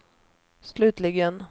slutligen